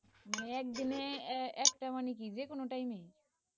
একদিনে একটা মানে কি যে কোন time এ